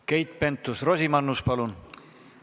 Keit Pentus-Rosimannus, palun!